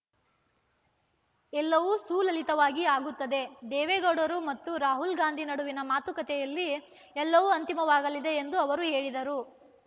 ಎಲ್ಲವೂ ಸುಲಲಿತವಾಗಿ ಆಗುತ್ತದೆ ದೇವೇಗೌಡರು ಮತ್ತು ರಾಹುಲ್ ಗಾಂಧಿ ನಡುವಿನ ಮಾತುಕತೆಯಲ್ಲಿ ಎಲ್ಲವೂ ಅಂತಿಮವಾಗಲಿದೆ ಎಂದು ಅವರು ಹೇಳಿದರು